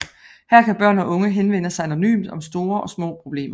Her kan børn og unge henvende sig anonymt om store og små problemer